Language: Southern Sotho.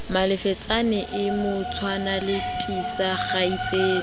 malefetsane e motshwana lethisa kgaitsedi